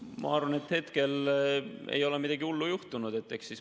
Ma arvan, et hetkel ei ole midagi hullu juhtunud.